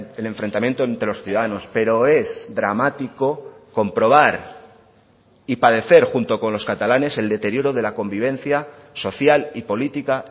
el enfrentamiento entre los ciudadanos pero es dramático comprobar y padecer junto con los catalanes el deterioro de la convivencia social y política